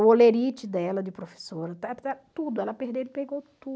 O olerite dela de professora, tudo, ela ele pegou tudo.